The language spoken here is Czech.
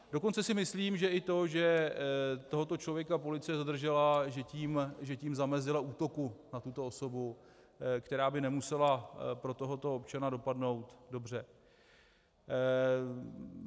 Dokonce si myslím, že i to, že tohoto člověka policie zadržela, že tím zamezila útoku na tuto osobu, který by nemusel pro tohoto občana dopadnout dobře.